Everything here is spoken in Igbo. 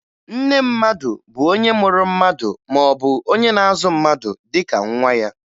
Nne mmadụ bụ onye mụrụ mmadụ maọbụ onye na-azụ mmadụ dịka nwa ya